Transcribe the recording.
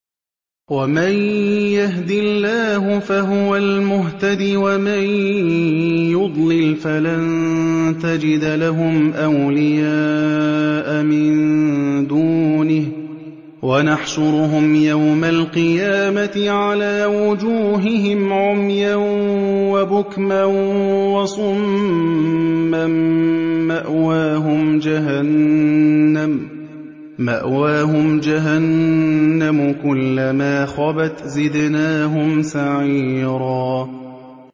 وَمَن يَهْدِ اللَّهُ فَهُوَ الْمُهْتَدِ ۖ وَمَن يُضْلِلْ فَلَن تَجِدَ لَهُمْ أَوْلِيَاءَ مِن دُونِهِ ۖ وَنَحْشُرُهُمْ يَوْمَ الْقِيَامَةِ عَلَىٰ وُجُوهِهِمْ عُمْيًا وَبُكْمًا وَصُمًّا ۖ مَّأْوَاهُمْ جَهَنَّمُ ۖ كُلَّمَا خَبَتْ زِدْنَاهُمْ سَعِيرًا